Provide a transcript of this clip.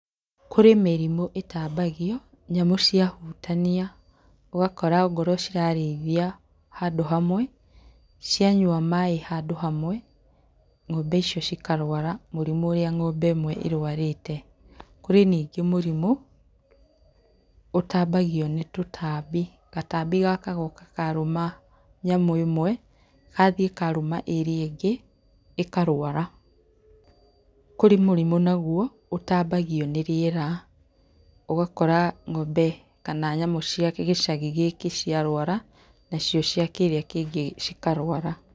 Kũrĩ mĩrĩmũ ĩtambagio nyamũ ciahutania. Ũgakora ongorwo cirarĩithio handũ hamwe, cianyua maĩ handũ hamwe ng'ombe icio cikarwara mũrimũ ũrĩa ng'ombe ĩmwe ĩrwarĩte . Kũrĩ nyingĩ mũrimũ ũtambagio nĩtũtambi. Gatambi gaka goka karũma nyamũ ĩmwe, gathiĩ karũma ĩrĩa ĩngĩ ĩkarwara. Kũrĩ mũrimũ naguo ũtambagio nĩrĩera, ũgakora ng'ombe kana nyamũ cia gĩcagi gĩkĩ ciarwara, nacio cia kĩrĩa kĩngĩ cikarwara.